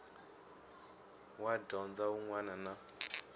wa dyondzo wun wana na